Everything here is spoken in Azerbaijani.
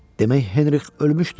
Demək Henrih ölmüşdü.